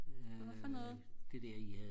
hvad for noget